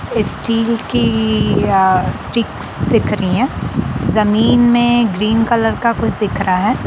Steel की sticks दिख रही है जमीन में ग्रीन कलर का कुछ दिख रहा है।